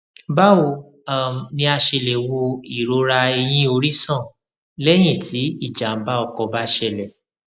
báwo um ni a ṣe lè wo irora eyin ori san lẹyìn tí ijàǹbá ọkọ bá ṣẹlẹ